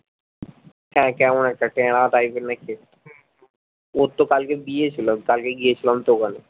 হ্যাঁ কেমন একটা ট্যারা তাই জন নাকি ওর তো কালকে বিয়ে ছিল কালকে গিয়েছিলাম তো ওখানে